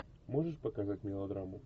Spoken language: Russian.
можешь показать мелодраму